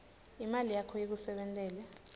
imali yakho ikusebentele